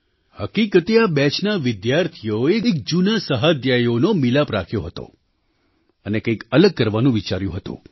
હકીકતે આ બેચના વિદ્યાર્થીઓએ એક જૂના સહાધ્યાયીઓનો મિલાપ રાખ્યો હતો અને કંઈક અલગ કરવાનું વિચાર્યું હતું